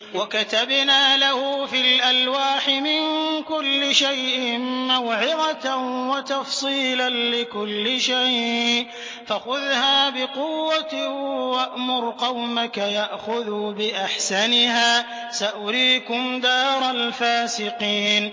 وَكَتَبْنَا لَهُ فِي الْأَلْوَاحِ مِن كُلِّ شَيْءٍ مَّوْعِظَةً وَتَفْصِيلًا لِّكُلِّ شَيْءٍ فَخُذْهَا بِقُوَّةٍ وَأْمُرْ قَوْمَكَ يَأْخُذُوا بِأَحْسَنِهَا ۚ سَأُرِيكُمْ دَارَ الْفَاسِقِينَ